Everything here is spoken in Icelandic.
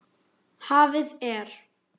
Hafið er